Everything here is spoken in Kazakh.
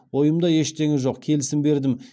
ойымда ештеңе жоқ келісім бердім